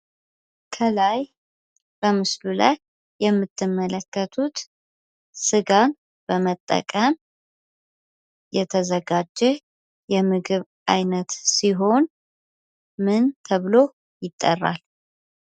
ከላይ በምስሉ ላይ የምትመለከቱት ስጋን በመጠቀም የተዘጋጀ የምግብ አይነት ሲሆን ምን ተብሎ ይጠራል?